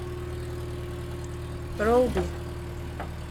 ролби